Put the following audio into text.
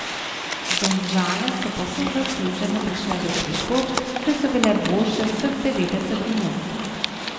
Domžale so povsem zasluženo prišle do treh točk, saj so bile boljše vseh devetdeset minut.